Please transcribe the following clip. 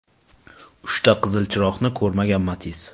Uchta qizil chiroqni ko‘rmagan Matiz.